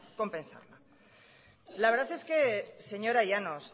compensarla la verdad es que señora llanos